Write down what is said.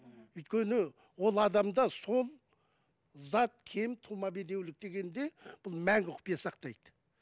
өйткені ол адамда сол зат кем тума бедеулік дегенде бұл мәңгі құпия сақтайды